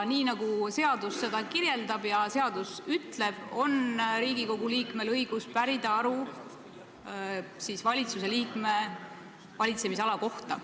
Nii nagu seadus seda kirjeldab ja seadus ütleb, on Riigikogu liikmel õigus pärida aru valitsuse liikme valitsemisala kohta.